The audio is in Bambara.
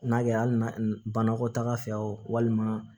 N'a kɛ hali na banakɔtaga fɛ o walima